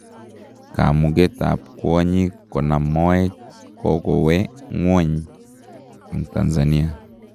Kamugetab kwanyiik konaam mooyet kokowee ngwony en Tanzania